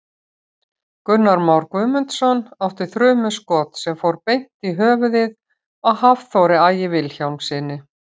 Gunnar Már Guðmundsson átti þrumuskot sem fór beint í höfuðið á Hafþóri Ægi Vilhjálmssyni.